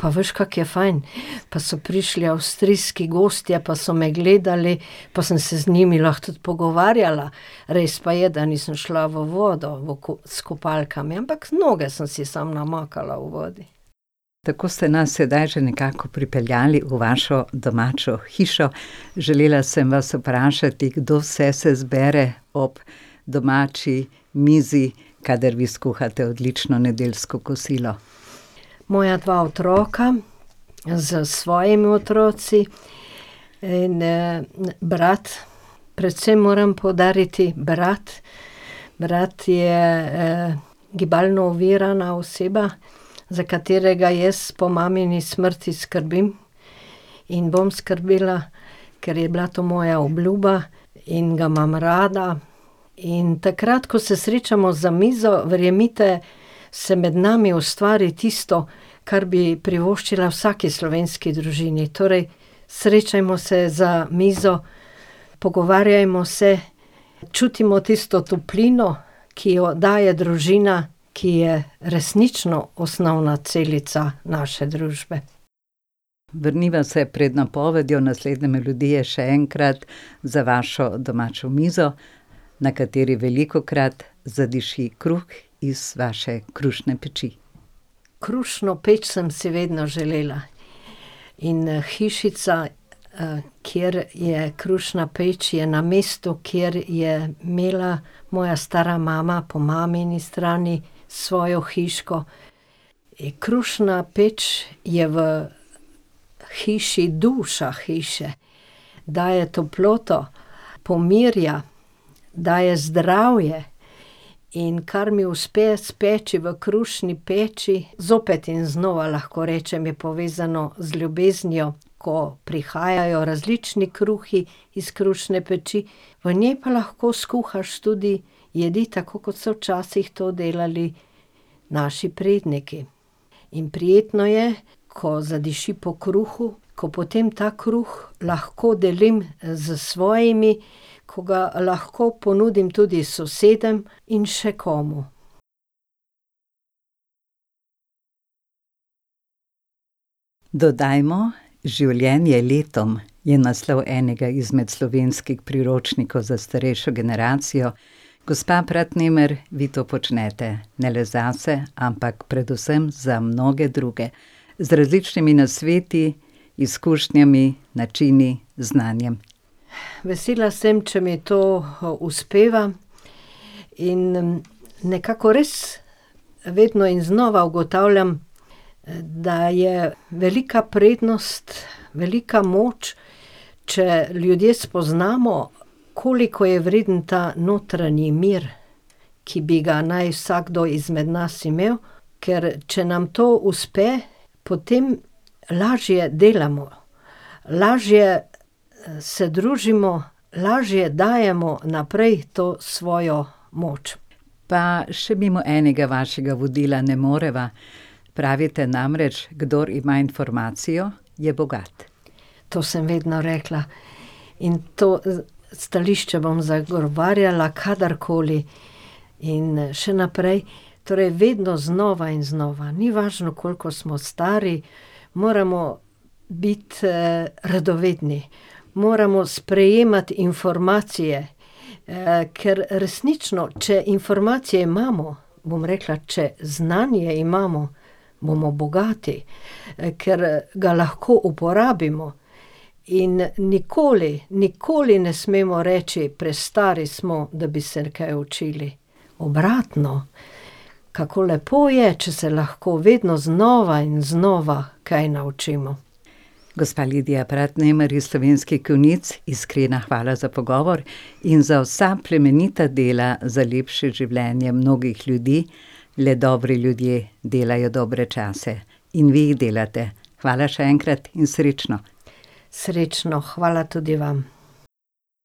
pa veš, kako je fajn. Pa so prišli avstrijski gostje pa so me gledali pa sem se z njimi lahko tudi pogovarjala. Res pa je, da nisem šla v vodo, v s kopalkami, ampak noge sem si samo namakala v vodi." Tako ste nas sedaj že nekako pripeljali v vašo domačo hišo, želela sem vas vprašati, kdo vse se zbere ob domači mizi, kadar vi skuhate odlično nedeljsko kosilo. Moja dva otroka s svojimi otroki in, brat, predvsem moram poudariti, brat, brat je, gibalno ovirana oseba, za katerega jaz po mamini smrti skrbim in bom skrbela, ker je bila to moja obljuba in ga imam rada. In takrat, ko se srečamo za mizo, verjemite, se med nami ustvari tisto, kar bi privoščila vsaki slovenski družini, torej: srečajmo se za mizo, pogovarjajmo se, čutimo tisto toplino, ki jo daje družina, ki je resnično osnovna celica naše družbe. Vrniva se pred napovedjo naslednje melodije še enkrat za vašo domačo mizo, na kateri velikokrat zadiši kruh iz vaše krušne peči. Krušno peč sem si vedno želela. In, hišica, kjer je krušna peč, je na mestu, kjer je imela moja stara mama po mamini strani svojo hiško. krušna peč je v hiši duša hiše. Daje toploto, pomirja, daje zdravje in kar mi uspe speči v krušni peči, zopet in znova lahko rečem, je povezano z ljubeznijo, ko prihajajo različni kruhi iz krušne peči, v njej pa lahko skuhaš tudi jedi, tako kot so včasih to delali naši predniki. In prijetno je, ko zadiši po kruhu, ko potem ta kruh lahko delim s svojimi, ko ga lahko ponudim tudi sosedom in še komu. Dodajmo življenje letom je naslov enega izmed slovenskih priročnikov za starejšo generacijo. Gospa Pratnemer, vi to počnete, ne le zase, ampak predvsem za mnoge druge. Z različnimi nasveti, izkušnjami, načini, znanjem. Vesela sem, če mi to uspeva. In nekako res vedno in znova ugotavljam, da je velika prednost, velika moč, če ljudje spoznamo, koliko je vreden ta notranji mir, ki bi ga naj vsakdo izmed nas imel. Ker če nam to uspe, potem lažje delamo. Lažje, se družimo, lažje dajemo naprej to svojo moč. Pa še mimo enega vašega vodila ne moreva, pravite namreč, kdor ima informacijo, je bogat. To sem vedno rekla in to stališče bom zagovarjala kadarkoli in, še naprej. Torej vedno znova in znova, ni važno, koliko smo stari, moramo biti, radovedni. Moramo sprejemati informacije, ker resnično, če informacije imamo, bom rekla, če znanje imamo, bomo bogati. ker ga lahko uporabimo. In nikoli, nikoli ne smemo reči: "Prestari smo, da bi se kaj učili." Obratno, kako lepo je, če se lahko vedno znova in znova kaj naučimo. Gospa Lidija Pratnemer iz Slovenskih Konjic, iskrena hvala za pogovor in za vsa plemenita dela za lepše življenje mnogih ljudi. Le dobri ljudje delajo dobre čase. In vi jih delate. Hvala še enkrat in srečno. Srečno, hvala tudi vam.